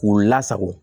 K'u lasago